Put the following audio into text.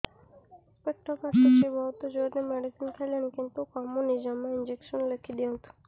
ପେଟ କାଟୁଛି ବହୁତ ଜୋରରେ ମେଡିସିନ ଖାଇଲିଣି କିନ୍ତୁ କମୁନି ଜମା ଇଂଜେକସନ ଲେଖିଦିଅନ୍ତୁ